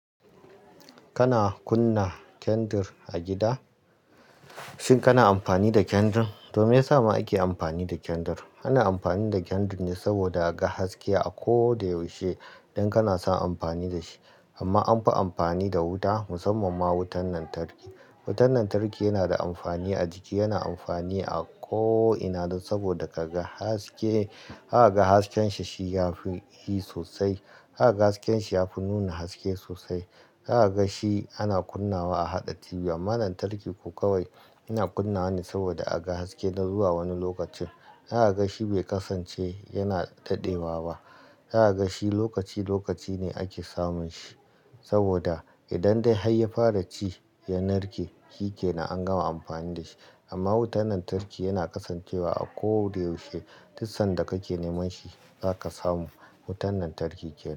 Kana kunna kyandir a gida? Shin kana amfani da kandir? To me ya sa ma ake amfani da kandir? Ana amfani da kandir ne saboda a ga haske a ko da yaushe idan kana son amfani da shi. Amma an fi amfani da wuta, musamman ma wutar lantarki. Wutar lantarki yana da amfani a jiki, yana amfani a ko'ina saboda ka ga haske. Haka ga hasken shi ya fi hi sosai. Zaka ga hasken shi ya fi nuna haske sosai. Zaka ga shi ana kunna a haɗa TV. Amma lantarki ku kawai yana kunnawa ne saboda a ga haske na zuwa wani lokacin. Zaka ga shi bai kasance yana daɗewa ba. Zaka ga shi lokaci, lokaci ne ake samun shi saboda idan dai har ya fara ci, ya narke shike na an gama amfani da shi. Amma wutan lantarki yana kasancewa a ko da yaushe. Dukkan sanda kake neman shi za ka samu wutan lantarki.